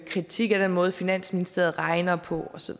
kritik af den måde finansministeriet regner på og så